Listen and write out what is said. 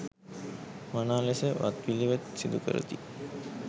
මනා ලෙස වත්පිළිවෙත් සිදුකරති.